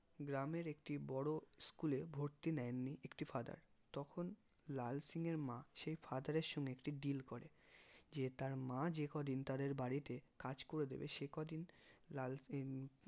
গ্রামের একটি বড়ো school এ ভর্তি নেননি একটি father তখন লাল সিং এর মা সেই father এর সঙ্গে একটি deal করেন যে তার মা যে কদিন তাদের বাড়িতে কাজ করে দেবে সেই কদিন লাল সিং